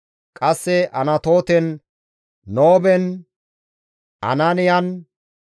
Qasse Anatooten, Nooben, Anaaniyan,